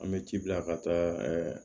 An bɛ ji bila ka taa ɛɛ